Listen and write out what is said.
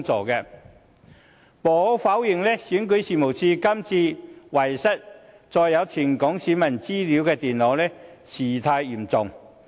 無可否認，選舉事務處這次遺失載有全港選民資料的電腦事態嚴重。